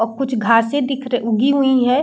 और कुछ घासे दिख र उगी हुई है।